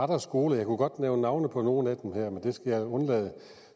der skoler jeg kunne godt nævne navne på nogle af dem her men det skal jeg undlade